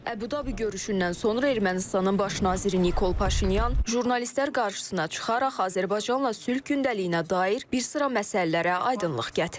Əbu-Dabi görüşündən sonra Ermənistanın baş naziri Nikol Paşinyan jurnalistlər qarşısına çıxaraq Azərbaycanla sülh gündəliyinə dair bir sıra məsələlərə aydınlıq gətirib.